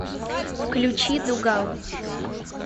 включи дугал